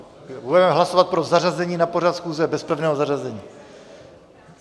Budeme hlasovat pro zařazení na pořad schůze bez pevného zařazení.